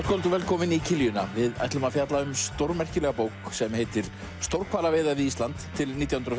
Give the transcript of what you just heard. kvöld og velkomin í kiljuna við ætlum að fjalla um stórmerkilega bók sem heitir stórhvalaveiðar við Ísland til nítján hundruð